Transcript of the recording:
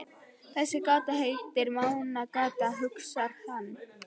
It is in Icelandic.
Þessi gata heitir Mánagata, hugsar hann.